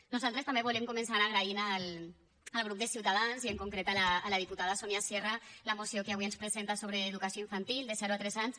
nosaltres també volem començar agraint al grup de ciutadans i en concret a la diputada sonia sierra la moció que avui ens presenta sobre educació infantil de zero a tres anys